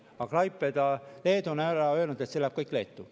Aga Klaipeda, Leedu, on öelnud, et see läheb kõik Leetu.